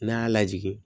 N'a y'a lajigin